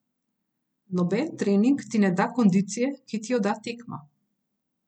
Noben trening ti ne da kondicije, ki ti jo da tekma.